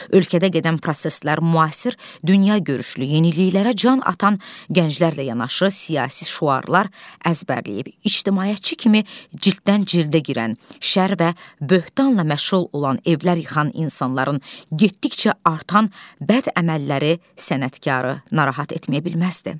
Ölkədə gedən proseslər müasir dünyagörüşlü, yeniliklərə can atan gənclərlə yanaşı, siyasi şüarlar əzbərləyib ictimaiyəti kimi cilddən cildə girən, şər və böhtanla məşğul olan, evlər yıxan insanların getdikcə artan bəd əməlləri sənətkarı narahat etməyə bilməzdi.